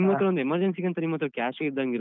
ನಿಮ್ಮತ್ರ ಒಂದ್ emergency ಗೆ ಅಂತ ನಿಮ್ಮತ್ರ cash ಇದ್ದಂಗಿರುತ್ತೆ.